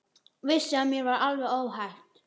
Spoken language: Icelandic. Vissi að mér var alveg óhætt.